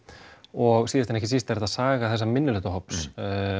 og síðast en ekki síst er þetta saga þessa minnihlutahóps